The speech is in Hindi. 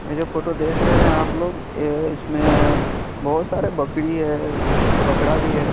ये जो फोटो देख रहे है आप लोग ये इसमें बहोत सारी बकरी है बकरा भी है।